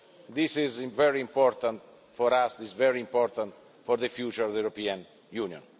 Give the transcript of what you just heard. This is very important for us, it is very important for the future of the European Union.